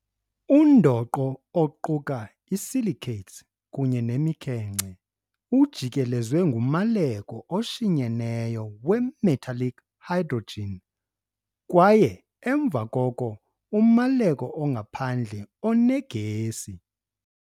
Undoqo, oquka i-silicates kunye nemikhenkce, ujikelezwe ngumaleko oshinyeneyo we-metallic hydrogen kwaye emva koko umaleko ongaphandle onegesi.